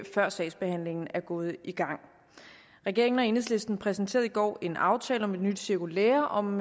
før sagsbehandlingen er gået i gang regeringen og enhedslisten præsenterede i går en aftale om et nyt cirkulære om